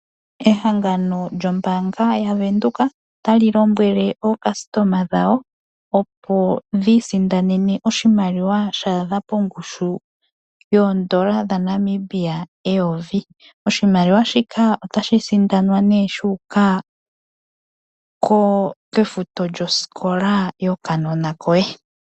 Ehangano lyombaanga yaWindhoek otali lombwele aantu opo yiisindanene oshimaliwa sha adha pongushu yoondola dhaNamibia eyovi. Oshimaliwa shika otashi sindanwa ne shuuka kofuto yosikola yokanona koye.